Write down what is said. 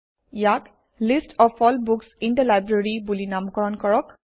ইয়াক list of all books in the library বুলি নামকৰণ কৰক